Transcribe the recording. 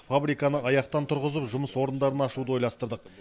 фабриканы аяқтан тұрғызып жұмыс орындарын ашуды ойластырдық